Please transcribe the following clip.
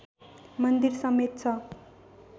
मन्दिर समेत छ